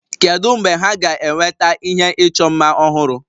Kedu mgbe ha ga-eweta ihe ịchọ mma ọhụrụ?